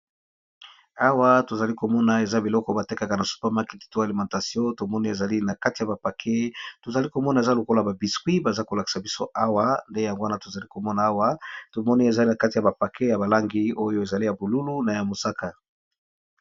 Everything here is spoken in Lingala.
Awa to zali ko mona eza biloko ba tekaka na super maeket to a alimentation tomoni ezali na kati ya ba paquets to zali ko mona eza lokola ba biscuits, baza ko lakisa biso awa nde yango wana to zali ko mona awa to moni ezali na kati ya ba paquets ya ba langi oyo ezali ya bululu na ya mosaka .